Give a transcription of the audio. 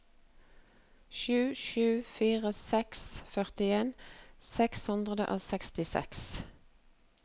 sju sju fire seks førtien seks hundre og sekstiseks